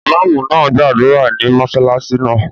Ìmáàmù náà gbàdúrà ní mọ́sálásí náà